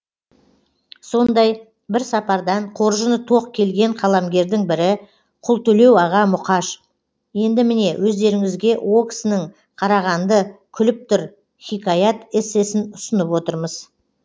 сондай бір сапардан қоржыны тоқ келген қаламгердің бірі құлтөлеу аға мұқаш енді міне өздеріңізге о кісінің қарағанды күліп тұр хикаят эссесін ұсынып отырмыз